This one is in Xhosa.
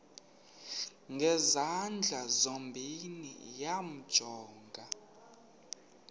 ngezandla zozibini yamjonga